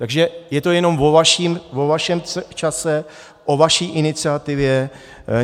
Takže je to jenom o vašem čase, o vaší iniciativě.